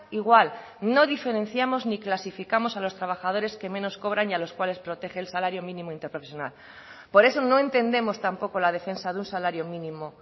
igual no diferenciamos ni clasificamos a los trabajadores que menos cobran y a los cuales protege el salario mínimo interprofesional por eso no entendemos tampoco la defensa de un salario mínimo